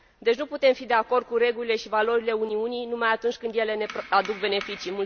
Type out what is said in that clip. Deci nu putem fi de acord cu regulile și valorile Uniunii numai atunci când ele ne aduc beneficii.